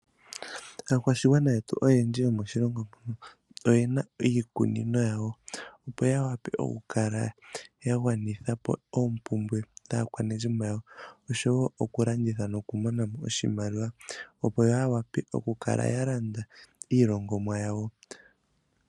Aakwashigwana yetu oyendji yomoshilongo shetu oyena iikunino yawo opo yawape okukala ya gwanithapo oompumbwe dhaakwanezimo yawo oshowo oku landitha noku monamo oshimaliwa opo yawape okukala ya landa iilongomwa yawo.